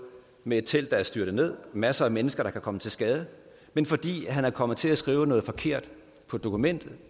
med et telt der er styrtet ned masser af mennesker der kan komme til skade men fordi han er kommet til at skrive noget forkert på dokumentet